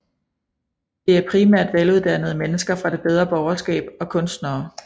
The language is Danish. Det er primært veluddannede mennesker fra det bedre borgerskab og kunstnere